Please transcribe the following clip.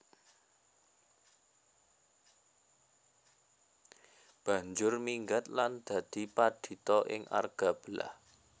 Banjur minggat lan dadi padhita ing Argabelah